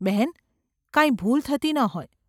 ‘બહેન ! કાંઈ ભૂલ થતી ન હોય.